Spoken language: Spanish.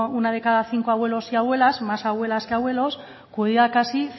una de cada cinco abuelos y abuelas más abuelas que abuelos cuida casi